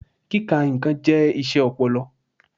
Kíka nnkàn jẹ́ iṣẹ́ ọpọlọ.